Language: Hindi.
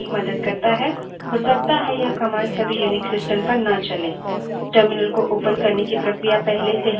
इस command का उपयोग screen पर message यानि कोई संदेश प्रदर्शित करने के लिए करते हैं